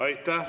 Aitäh!